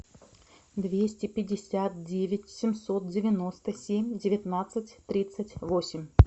двести пятьдесят девять семьсот девяносто семь девятнадцать тридцать восемь